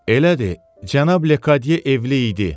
Elədir, cənab Lekadye evli idi.